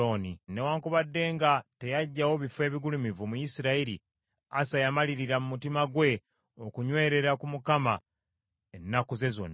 Newaakubadde nga teyaggyawo bifo ebigulumivu mu Isirayiri, Asa yamalirira mu mutima gwe okunywerera ku Mukama ennaku ze zonna.